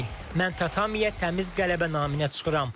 Mən tatamiyə təmiz qələbə naminə çıxıram.